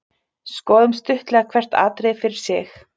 Skoðum stuttlega hvert atriði fyrir sig.